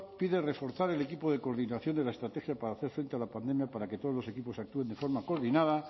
pide reforzar el equipo de coordinación de la estrategia para hacer frente a la pandemia para que todos los equipos actúen de forma coordinada